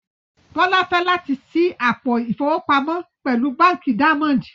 Bọlá fẹ̀ lati ṣí àpò ifowopamọ pẹ̀lú Bánkì Daimondì.